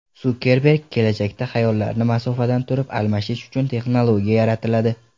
Sukerberg: Kelajakda xayollarni masofadan turib almashish uchun texnologiya yaratiladi.